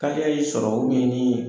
Kaliya y'i sɔrɔ n'i ye